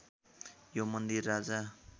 यो मन्दिर राजा